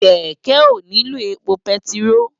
Kèkè óniló épó pètiró